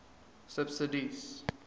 subsidies